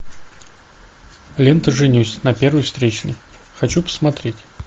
лента женюсь на первой встречной хочу посмотреть